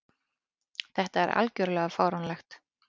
Þetta er algjörlega fáránlegt.